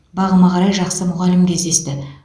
бағыма қарай жақсы мұғалім кездесті